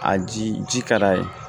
A ji ka d'a ye